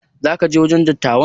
Za ka je wajen dattawan?